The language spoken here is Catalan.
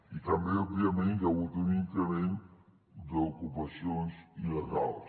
i també òbviament hi ha hagut un increment d’ocupacions il·legals